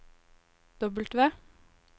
W